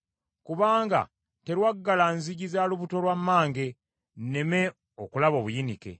Kubanga terwaggala nzigi za lubuto lwa mmange, nneme okulaba obuyinike.